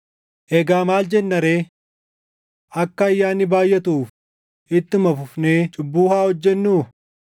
Egaa maal jenna ree? Akka ayyaanni baayʼatuuf ittuma fufnee cubbuu haa hojjennuu?